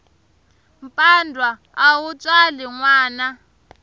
mpandwa a wu tswali nwana